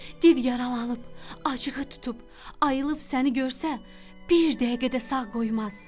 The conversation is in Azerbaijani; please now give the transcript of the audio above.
Div yaralanıb, acığı tutub, ayılıb səni görsə, bir dəqiqə də sağ qoymaz.